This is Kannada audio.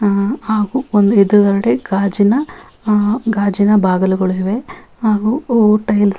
ಆಹ್ಹ್ ಹಾಗು ಒಂದು ಏದುಗಡೆ ಗಾಜಿನ ಆಹ್ಹ್ ಗಾಜಿನ ಬಾಗಿಲುಗಳು ಇವೆ ಹಾಗು ಟೈಲ್ಸ್ --